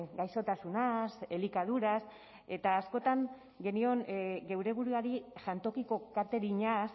gaixotasunaz elikaduraz eta askotan genion geure buruari jantokiko katerinaz